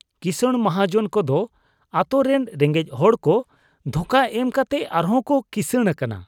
ᱠᱤᱥᱟᱬ ᱢᱚᱦᱟᱡᱚᱱ ᱠᱚᱫᱚ ᱟᱛᱳ ᱨᱮᱱ ᱨᱮᱸᱜᱮᱡ ᱦᱚᱲᱠᱚ ᱫᱷᱚᱠᱟ ᱮᱢ ᱠᱟᱛᱮ ᱟᱨᱦᱚᱸᱠᱚ ᱠᱤᱥᱟᱬ ᱟᱠᱟᱱᱟ